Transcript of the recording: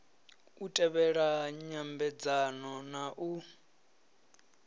u tevhela nyambedzano na u